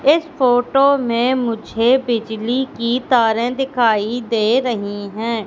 इस फोटो में मुझे बिजली की तारें दिखाई दे रही हैं।